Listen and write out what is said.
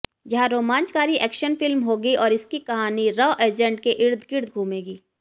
यह रोमांचकारी action film होगी और इसकी कहानी रा एजेंट के इर्द गिर्द घूमेगी